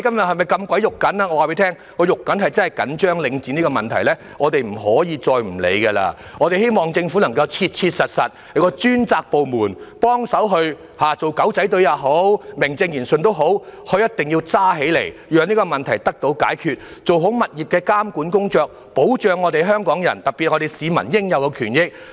我告訴大家，我真的十分着緊領展的問題，我們不可以再不理會了，我希望政府能夠切實委任專責部門，不論是以"狗仔隊"或名正言順的方式也好，他們必須嚴肅處理，讓這個問題得以解決，並做好物業監管工作，以保障香港人，特別是市民應有的權益。